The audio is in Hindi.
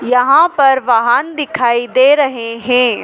यहां पर वाहन दिखाई दे रहे हैं।